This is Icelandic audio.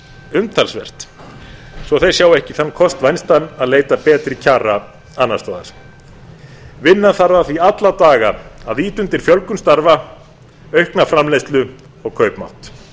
umtalsvert svo þeir sjái ekki þann kost vænstan að leita betri kjara annars staðar vinna þarf að því alla daga að ýta undir fjölgun starfa aukna framleiðslu og kaupmátt